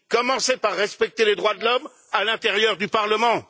Commencez par respecter les droits de l'homme à l'intérieur du Parlement.